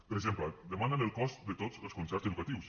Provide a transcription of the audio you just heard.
per exemple demanen els cost de tots els concerts educatius